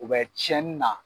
U bɛ cɛnni na.